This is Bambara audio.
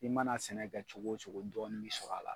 I mana sɛnɛ kɛ cogo o cogo, jɔnni bɛ sɔrɔ a la.